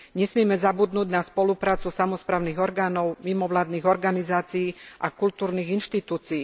Nesmieme zabudnúť na spoluprácu samosprávnych orgánov, mimovládnych organizácií a kultúrnych inštitúcií.